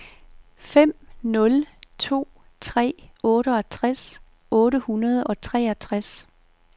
fem nul to tre otteogtres otte hundrede og treogtres